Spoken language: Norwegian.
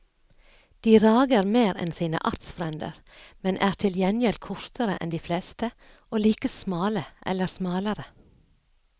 De rager mer enn sine artsfrender, men er til gjengjeld kortere enn de fleste og like smale eller smalere.